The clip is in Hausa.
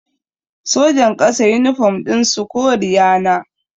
Sojan ƙasa yunifom ɗin su koriya na